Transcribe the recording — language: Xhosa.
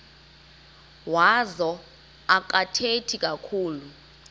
wazo akathethi kakhulu